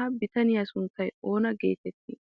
Ha bitaniya sunttay oona geetettii?